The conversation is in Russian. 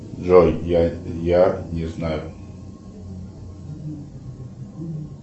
джой я я не знаю